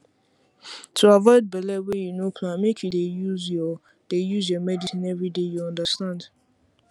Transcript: to avoid belle wey you no plan make you dey use your dey use your medicine everyday you understand